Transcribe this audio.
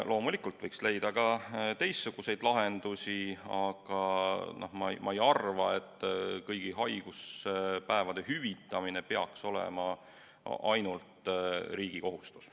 Loomulikult võiks leida ka teistsuguseid lahendusi, aga ma ei arva, et kõigi haiguspäevade hüvitamine peaks olema ainult riigi kohustus.